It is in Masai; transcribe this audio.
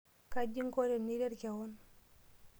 kaji ingo teniret kewon?